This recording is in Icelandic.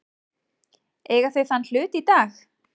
Eiga þau þann hlut í dag.